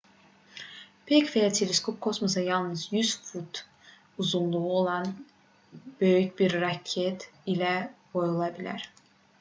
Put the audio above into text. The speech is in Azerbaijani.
peyk və ya teleskop kosmosa yalnız 100 fut uzunluğu olan böyük bir raket ilə qoyula bilər